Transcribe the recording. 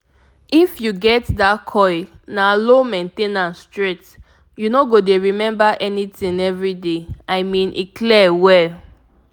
if you get that coil na low main ten ance straight — you no go dey remember anything every day i mean e clear well